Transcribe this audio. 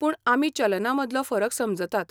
पूण आमी चलना मदलो फरक समजतात.